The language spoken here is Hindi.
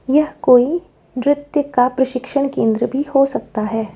यह कोई नृत्य का प्रशिक्षण केंद्र भी हो सकता है।